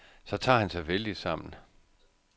Så tager han sig vældigt sammen.